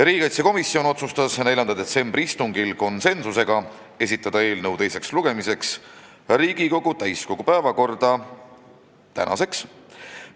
Riigikaitsekomisjon otsustas 4. detsembri istungil konsensusega esitada eelnõu teiseks lugemiseks täiskogu päevakorda tänaseks.